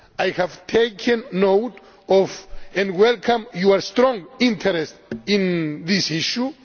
I have taken note of and welcome your strong interest in this issue.